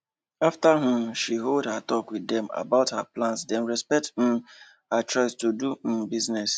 after um she hold talks with them about her plans dem respect um her choice to do um business